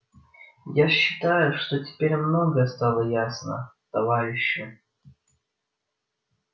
я считаю что теперь многое стало ясно товарищи